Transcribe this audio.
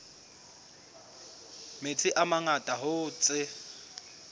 metsi a mangata hoo tse